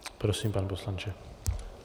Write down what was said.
Prosím, pane poslanče.